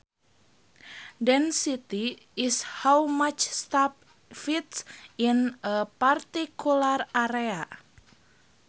Density is how much stuff fits in a particular area